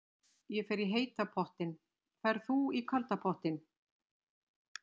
Ég fer í heita pottinn. Ferð þú í kalda pottinn?